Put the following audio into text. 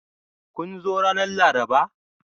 Kun zo ranar Laraba?